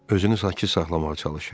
Özünü sakit saxlamağa çalışır.